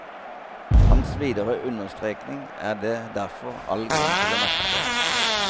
Hans videre understrekning er det derfor all grunn til å merke seg.